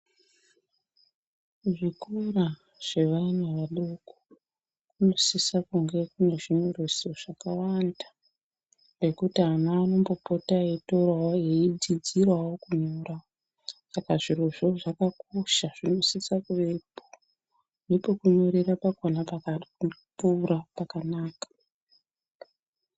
Muzvikora zvevana vadoko munosisa kunge munezvinyoreso zvakawanda zvekuti ana anombopotawo eitorawo eidzidzirawo kunyora. Saka zvirozvo zvakakosha ,zvinosisa kuvepo .Nepekunyorera pakona pakakura pakanaka.